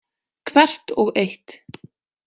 Hvert og eitt.